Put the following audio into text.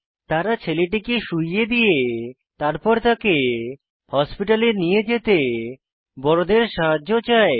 তারা ছেলেটিকে শুয়িয়ে দিয়ে তারপর তাকে হাসপাতালে নিয়ে যেতে বড়দের সাহায্য চায়